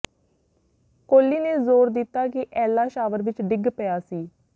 ਕੋਲੀ ਨੇ ਜ਼ੋਰ ਦਿੱਤਾ ਕਿ ਐਲਾ ਸ਼ਾਵਰ ਵਿਚ ਡਿੱਗ ਪਿਆ ਸੀ